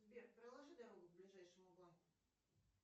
сбер проложи дорогу к ближайшему банку